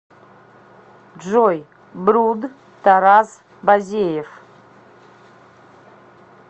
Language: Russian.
джой бруд тарас базеев